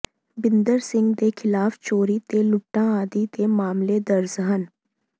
ਬਿੰਦਰ ਸਿੰਘ ਦੇ ਖ਼ਿਲਾਫ਼ ਚੋਰੀ ਤੇ ਲੁੱਟਾਂ ਆਦਿ ਦੇ ਮਾਮਲੇ ਦਰਜ ਹਨ